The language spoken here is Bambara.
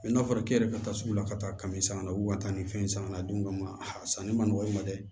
n'a fɔra k'i yɛrɛ bɛ taa sugu la ka taa kami sanga na wu ka taa ni fɛn sanga la don dɔ ma a sanni man nɔgɔ i ma dɛ